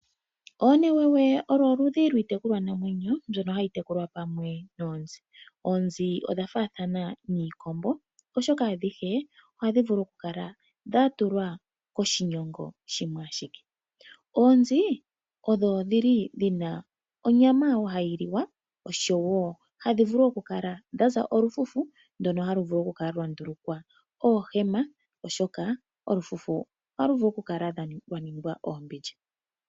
Oonewewe olo oludhi lwiitekulwa namwenyo mbyono hayi tekulwa pamwe noonzi. Oonzi odhafaathana niikombo oshoka ohadhi vulu okukala dhatulwa koshigunda shimwe ashike. Oonzi odho dhili dhina onyama hayiliwa osho wo hadhi vulu okukala dhaza olufufu ndono halu vulu okukala lwandululwa oohema oshoka olufufu ohalu vulu okukala lwa ningwa oombindja.